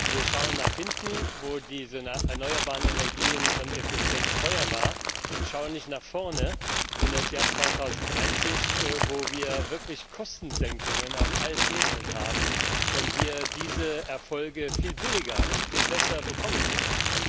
Wir schauen nach hinten, wo diese erneuerbare Energie ineffizient und teuer war, und schauen nicht nach vorne in das Jahr 2030, wo wir wirklich Kostensenkungen auf allen Ebenen haben und diese Erfolge viel billiger und viel besser bekommen können.